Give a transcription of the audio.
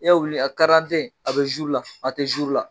I ka wulu ni a a bɛ la a tɛ la.